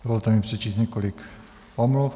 Dovolte mi přečíst několik omluv.